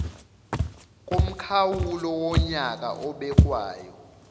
komkhawulo wonyaka obekwayo